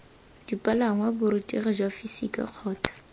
dipalangwa borutegi jwa fisika kgotsa